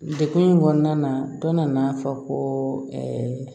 Dekun in kɔnɔna na dɔ nana fɔ ko